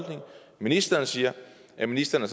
ministeren siger at ministeren